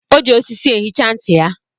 O ji osisi ehicha ntị ya.